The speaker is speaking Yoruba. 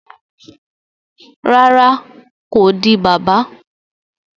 Rárá, ko di bàbà